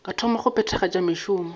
ka thoma go phethagatša mešomo